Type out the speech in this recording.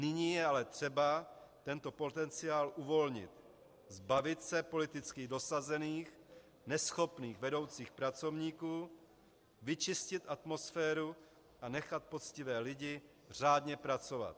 Nyní ale je třeba tento potenciál uvolnit, zbavit se politicky dosazených, neschopných vedoucích pracovníků, vyčistit atmosféru a nechat poctivé lidi řádně pracovat.